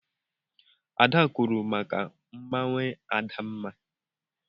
Ada kwuuru maka mmanwụ Adamma.